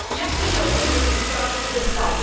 Ja chcę się odnieść do tej sprawy wystawy.